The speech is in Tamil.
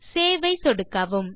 சேவ் ஐ சொடுக்கவும்